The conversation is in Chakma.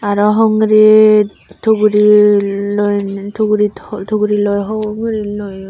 aro hongrit tugri loi tugurit tuguri loi hong guri loyon.